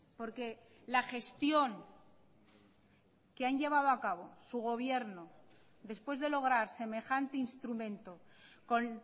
porque la gestión que han llevado a cabo su gobierno después de lograr semejante instrumento con